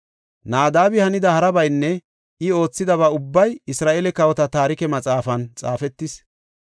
Naadabi hanida harabaynne I oothidaba ubbay Isra7eele Kawota Taarike Maxaafan xaafetis.